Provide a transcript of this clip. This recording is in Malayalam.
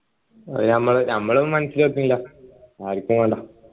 അത് ഞമ്മള് ഞമ്മളും മനസ്സിൽ വെക്കുന്നില്ല ആരിക്കും വേണ്ട